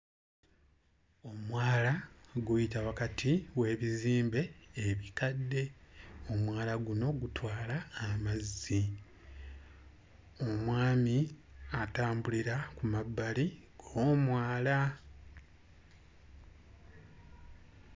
Omwala guyita wakati w'ebizimbe ebikadde. Omwala guno gutwala amazzi. Omwami atambulira ku mabbali g'omwala.